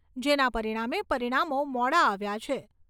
જેના પરિણામે પરિણામો મોડા આવ્યા છે.